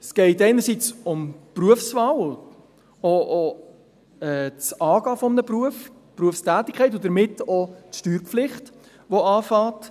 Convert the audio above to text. Es geht einerseits um die Berufswahl und auch um das Angehen eines Berufs, die Berufstätigkeit, und damit auch um die Steuerpflicht, welche beginnt.